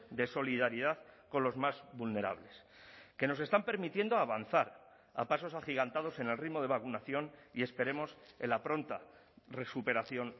de solidaridad con los más vulnerables que nos están permitiendo avanzar a pasos agigantados en el ritmo de vacunación y esperemos en la pronta recuperación